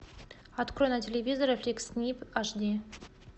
открой на телевизоре фликс снип аш ди